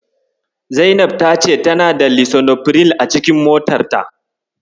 Zainab ta ce tana da Lisinopril a cikinmotarta.